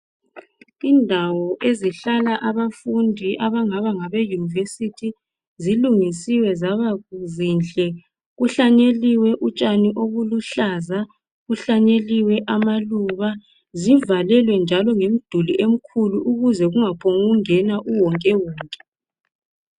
Indawo ezihlala abafundi abangaba ngabeYunivesi zilungisiwe zaba zinhle .Kuhlanyeliwe utshani obuluhlaza, kuhlanyeliwe amaluba. Zivalelwe njalo ngemduli emikhulu ukuze kungaphongungena uwonke wonke.